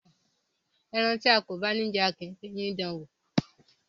Ẹran tía kò bá ní jẹ, a kìí fi eyín dáan wò.